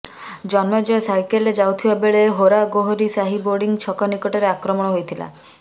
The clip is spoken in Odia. ଜନ୍ମେଜୟ ସାଇକେଲରେ ଯାଉଥିବାବେଳେ ହେରାଗୋହରୀ ସାହି ବୋର୍ଡିଂ ଛକ ନିକଟରେ ଆକ୍ରମଣ ହୋଇଥିଲା